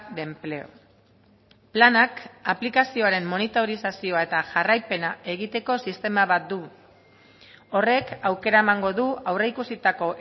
de empleo planak aplikazioaren monitorizazioa eta jarraipena egiteko sistema bat du horrek aukera emango du aurreikusitako